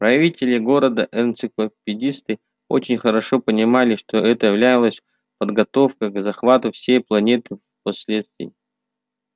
правители города энциклопедисты очень хорошо понимали что это являлось подготовкой к захвату всей планеты впоследствии